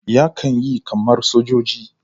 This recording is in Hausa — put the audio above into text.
Yakan yi kamar sojoji.